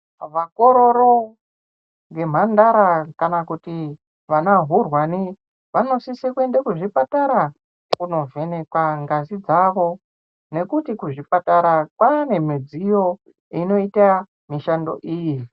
Vakororo nemhandara kana kuti vanahurwani vanosise kuende kuzvipatara kunovhenekwa ngazi dzavo nekuti kuzvipatara kwane midziyo inoita mishando iyi.